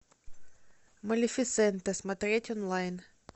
малефисента смотреть онлайн